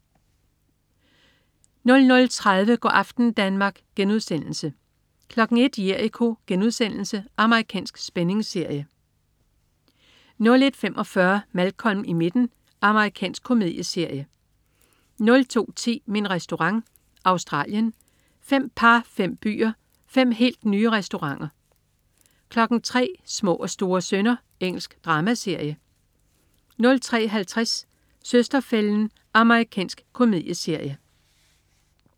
00.30 Go' aften Danmark* 01.00 Jericho.* Amerikansk spændingsserie 01.45 Malcolm i midten. Amerikansk komedieserie 02.10 Min Restaurant. Australien. Fem par, fem byer, fem helt nye restauranter 03.00 Små og store synder. Engelsk dramaserie 03.50 Søster-fælden. Amerikansk komedieserie